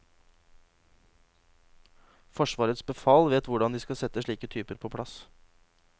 Forsvarets befal vet hvordan de skal sette slike typer på plass.